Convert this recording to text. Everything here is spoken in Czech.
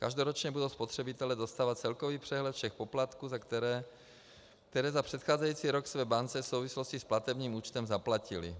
Každoročně budou spotřebitelé dostávat celkový přehled všech poplatků, které za předcházející rok své bance v souvislosti s platebním účtem zaplatili.